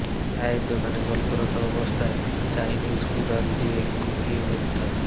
চায়ের দোকানে গল্পরত অবস্থায় চাইনিজ কুড়াল দিয়ে কুপিয়ে হত্যা